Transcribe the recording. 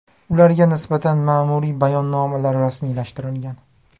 Ularga nisbatan ma’muriy bayonnomalar rasmiylashtirilgan.